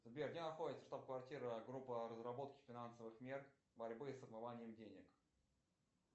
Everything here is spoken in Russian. сбер где находится штаб квартира группа разработки финансовых мер борьбы с отмыванием денег